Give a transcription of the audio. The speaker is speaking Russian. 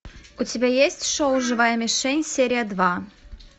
у тебя есть шоу живая мишень серия два